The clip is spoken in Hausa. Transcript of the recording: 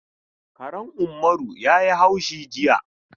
Karen Ummaru ya yi haushi jiya.